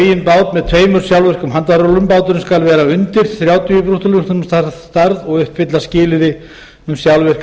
eigin bát með tveimur sjálfvirkum handfærarúllum báturinn skal vera undir þrjátíu brúttórúmlestum að stærð og uppfylla skilyrði um sjálfvirka